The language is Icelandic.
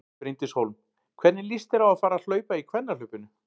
Bryndís Hólm: Hvernig líst þér á að fara að hlaupa í kvennahlaupinu?